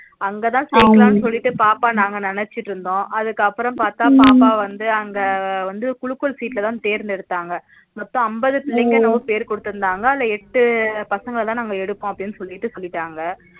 அங்கதா சேக்கலானு சொல்லிட்டு பாப்பா நாங்க நினட்சிட்டு இருந்தோம் அதுக்கப்பறம் பாத்த பாப்பாவந்து அங்க வந்து குலுக்கல் sheet ல தா தேர்ந்தெடுத்தாங்க மொத்தம் அம்பது பிள்ளைங்க என்னோவோ பேரு குடுத்துருந்தாங்க அதுல எட்டு பசங்கதா நாங்க எடுபோம்னு அப்டினு சொல்லிட்டு சொல்லிட்டாங்க